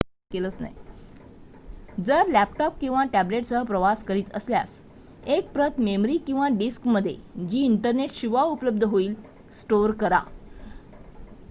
जर लॅपटॉप किंवा टॅब्लेटसह प्रवास करीत असल्यास एक प्रत मेमरी किंवा डिस्कमध्ये जी इंटरनेटशिवाय उपलब्ध होईल स्टोअर करा